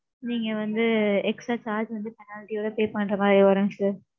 நீங்க வந்து extra charge வந்து penalty ஓட pay பண்ற மாதிரி வரும் sir.